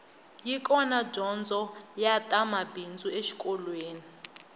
yi kona dyondzo ya ta mabindzu exikolweni